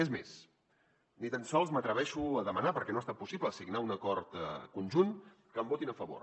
és més ni tan sols m’atreveixo a demanar perquè no ha estat possible signar un acord conjunt que em votin a favor